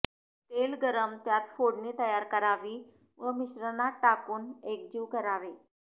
तेल गरम त्यात फोडणी तयार करावी व मिश्रणात टाकून एकजीव करावे